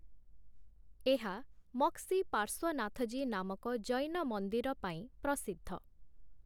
ଏହା ମକ୍ସି ପାର୍ଶ୍ୱନାଥଜୀ ନାମକ ଜୈନ ମନ୍ଦିର ପାଇଁ ପ୍ରସିଦ୍ଧ ।